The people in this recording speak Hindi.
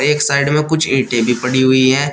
एक साइड में कुछ ईंटें भी पड़ी हुई है।